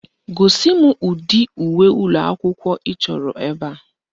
Gosi m ụdị uwe ụlọakwụkwọ ị chọrọ ebe a